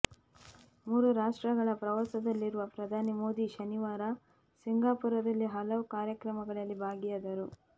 ಮೂರು ರಾಷ್ಟ್ರಗಳ ಪ್ರವಾಸದಲ್ಲಿರುವ ಪ್ರಧಾನಿ ಮೋದಿ ಶನಿವಾರ ಸಿಂಗಾಪುರದಲ್ಲಿ ಹಲವು ಕಾರ್ಯಕ್ರಮಗಳಲ್ಲಿ ಭಾಗಿಯಾದರು